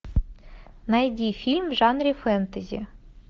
найди фильм в жанре фэнтези